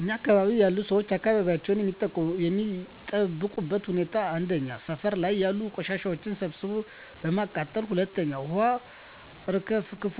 እኛ አካባቢ ያሉ ሠዎች አካባቢያቸውን የሚጠብቁበት ሁኔታ 1. ሠፈር ላይ ያሉ ቆሻሻዎችን ሠብስቦ በማቃጠል 2. ውሀ አርከፍክፎ